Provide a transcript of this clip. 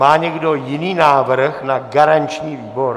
Má někdo jiný návrh na garanční výbor?